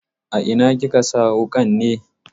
A ina kika sa wuƙan ne?